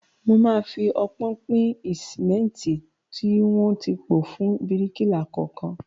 Mo máa fi ọpọ́n pín sìmẹ́ntì tí wọ́n ti pò fún bíríkìlà kọ̀ọ̀kan.